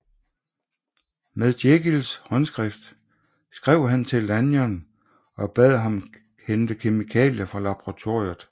Med Jekylls håndskrift skrev han til Lanyon og bad ham hente kemikalier fra laboratoriet